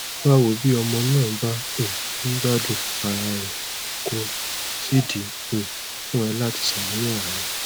bawo bí ọmọ náà bá um ń gbádùn ara rẹ kò sídìí um fún ẹ láti ṣàníyàn rárá